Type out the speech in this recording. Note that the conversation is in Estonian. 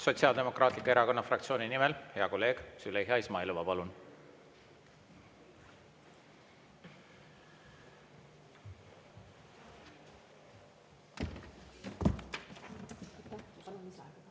Sotsiaaldemokraatliku Erakonna fraktsiooni nimel hea kolleeg Züleyxa Izmailova, palun!